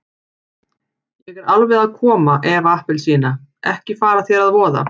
Ég er alveg að koma Eva appelsína, ekki fara þér að voða.